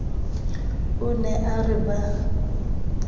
o ne a re ba